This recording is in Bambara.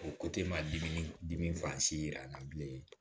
O ko te maa dimi dimi yira an na bilen